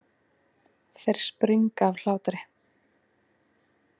Þeir springa af hlátri.